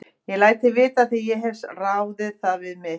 Ég læt þig vita, þegar ég hef ráðið það við mig